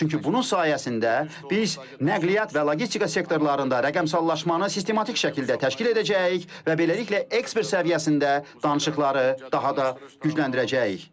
Çünki bunun sayəsində biz nəqliyyat və logistika sektorlarında rəqəmsallaşmanı sistematik şəkildə təşkil edəcəyik və beləliklə ekspert səviyyəsində danışıqları daha da gücləndirəcəyik.